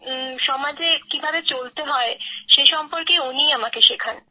সমাজে কিভাবে চলতে হয় সে সম্পর্কে উনি আমাকে শেখান